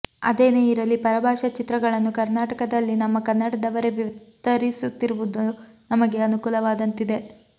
ಅದೇನೆ ಇರಲಿ ಪರಭಾಷಾ ಚಿತ್ರಗಳನ್ನು ಕರ್ನಾಟಕದಲ್ಲಿ ನಮ್ಮ ಕನ್ನಡದವರೇ ವಿತರಿಸುತ್ತಿರುವುದು ನಮಗೆ ಅನುಕೂಲವಾದಂತಿದೆ